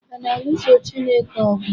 A na-alụso Chineke ọgwụ?